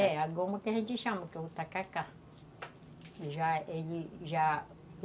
É, a goma que a gente chama, que é o tacacá.